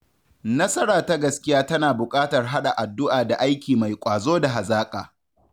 Nasara ta gaskiya tana bukatar haɗa addu’a da aiki mai ƙwazo da hazaka.